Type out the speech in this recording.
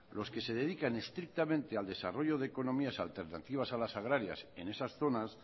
los que se dedican estrictamente al desarrollo de economías alternativas a las agrarias en esas zonas